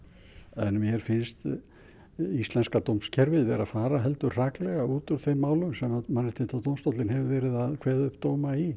en mér finnst íslenska dómskerfið verið að fara heldur hraklega út úr þeim málum sem Mannréttindadómstóllinn hefur verið að kveða upp dóma í